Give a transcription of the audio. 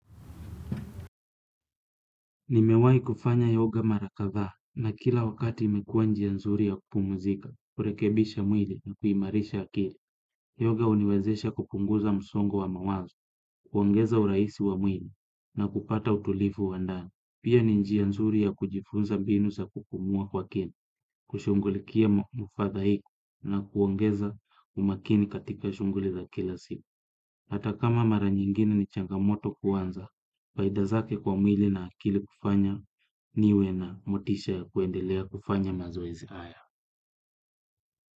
Nimewahi kufanya yoga mara kadhaa na kila wakati imekuwa njia nzuri ya kupumzika kurekebisha mwili na kuimarisha akili. Yoga huniwezesha kupunguza msongo wa mawazo kuongeza urahisi wa mwili na kupata utulivu wa ndani. Pia ni njia nzuri ya kujifunza mbinu za kupumua kwa kini kushughulikia mufadha hiku na kuongeza umakini katika shughuli za kila siku. Hata kama mara nyingine ni changamoto kwanza faida zake kwa mwili na akili kufanya niwe na motisha ya kuendelea kufanya mazoezi haya.